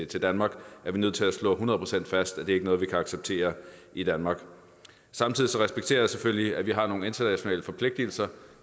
til danmark er vi nødt til at slå hundrede procent fast at det ikke er noget vi kan acceptere i danmark samtidig respekterer jeg selvfølgelig at vi har nogle internationale forpligtelser